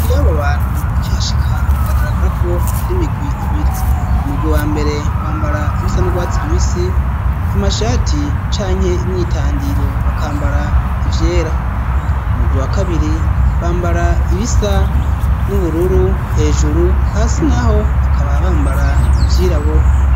Iyo abo bantu ukihashika biragaragara ko ari imigwi ibiri umurwi wambere wambara ibisa n'urwatsi rubisi amashati canke imyitandiro bakambara ivyera umugwi wakabiri bambara ibisa n'ubururu hejuru hasi naho bakaba bambara ivyirabura.